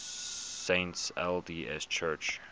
saints lds church